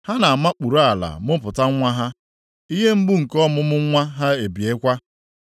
Ha na-amakpuru ala mụpụta nwa ha. Ihe mgbu nke ọmụmụ nwa ha ebiekwa.